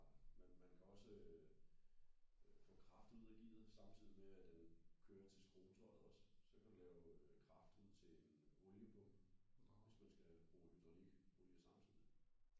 Men man man kan også øh få kraft ud af gearet samtidig med at den kører til skruetøjet også så kan du lave kraft ud til oliepumpen hvis man skal bruge hydraulikolie samtidig